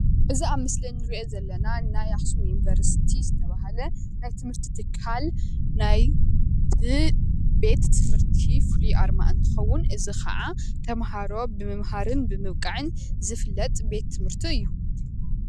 እዚ ኣብ ምስሊ ከምንርእዮ ዘለና ናይ ኣክሱም ዩኒቨርሲቲ ዝተባሃለ ናይ ትምህርቲ ትካል ናይ ቤትምህርቲ ፍሉይ ኣርማ እንትከዉን እዚ ከዓ ተምሃሮ ብምመሃርን ብምብቃዕን ዝፍለጥ ቤትምርቲ እዩ።